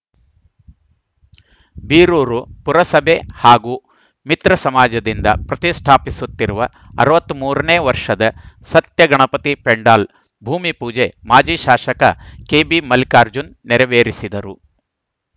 ಬೀರೂರು ಪುರಸಭೆ ಹಾಗೂ ಮಿತ್ರ ಸಮಾಜದಿಂದ ಪ್ರತಿಷ್ಠಾಪಿಸುತ್ತಿರುವ ಅರವತ್ತ್ ಮೂರ ನೇ ವರ್ಷದ ಸತ್ಯಗಣಪತಿ ಪೆಂಡಾಲ್‌ ಭೂಮಿಪೂಜೆ ಮಾಜಿ ಶಾಸಕ ಕೆಬಿ ಮಲ್ಲಿಕಾರ್ಜುನ್‌ ನೆರವೇರಿಸಿದರು